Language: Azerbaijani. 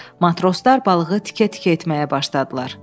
Matroslar balığı tikə-tikə etməyə başladılar.